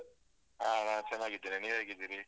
ಹ. ನಾವ್ ಚೆನ್ನಾಗಿದ್ದೇವೆ. ನೀವ್ ಹೇಗಿದ್ದೀರಿ?